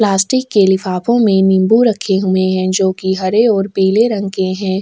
Plastic के लिफाफों में निम्बू रखे हुए है जोकि हरे और पीले रंग के हैं।